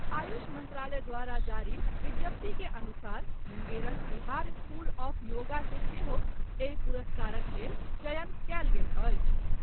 आयुष मंत्रालय द्वारा जारी विज्ञप्ति के अनुसार मुंगेरक बिहार स्कूल ऑफ योगा के सेहो एहि पुरस्कारक लेल चयन कयल गेल अछि।